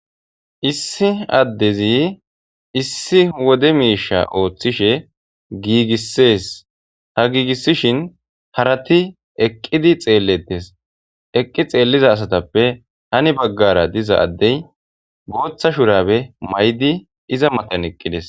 Issi addezi issi wode miisha ooththishe giigissees ha giigissishin harati eqqidi xeellettes eqqi xeelliza asatappe hani baggara diza addey gooththa shurabe may7di iza matan eqqides